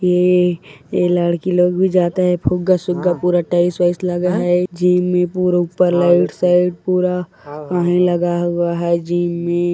ए लड़की लोग भी जाता है फुगा सुग्गा पूरा टाइल्स वैल्स लगा है जिम में पूरा ऊपर लाइट साइट पूरा आ-हे- लगा हुआ है जिम में।